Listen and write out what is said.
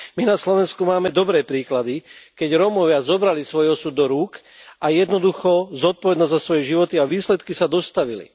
My na Slovensku máme dobré príklady, keď Rómovia zobrali svoj osud do rúk a jednoducho zodpovednosť za svoje životy a výsledky sa dostavili.